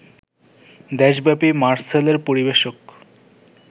দেশব্যাপী মারসেলের পরিবেশক